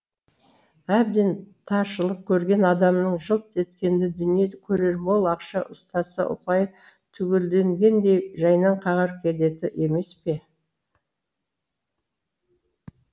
әбден таршылық көрген адамның жылт еткенді дүние көрер мол ақша ұстаса ұпайы түгелденгендей жайнаң қағар әдеті емес пе